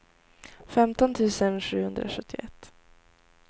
femton tusen sjuhundrasjuttioett